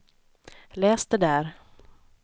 läs det där